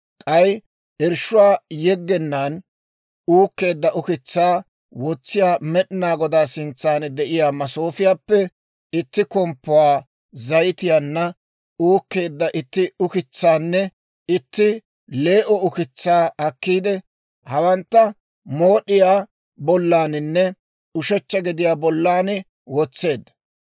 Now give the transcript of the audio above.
K'ay irshshuwaa yeggenaan uukkeedda ukitsaa wotsiyaa Med'inaa Godaa sintsan de'iyaa masoofiyaappe itti komppuwaa, zayitiyaanna uukkeedda itti ukitsaanne itti lee"o ukitsaa akkiide, hawantta mood'iyaa bollaaninne ushechcha gediyaa bollan wotseedda.